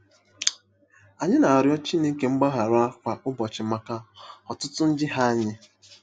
Ànyị na-arịọ Chineke mgbaghara kwa ụbọchị maka ọtụtụ njehie anyị?